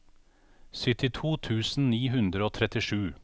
syttito tusen ni hundre og trettisju